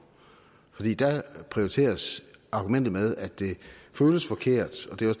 prioriteres argumentet at det føles forkert og det